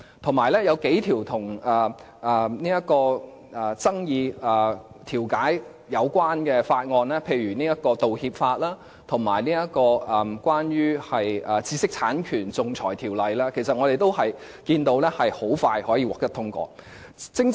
同時，有數項與爭議調解有關的法案，例如《道歉法》，以及關於知識產權的《仲裁條例》的修訂，其實可見，我們是會很迅速地通過有關的法案。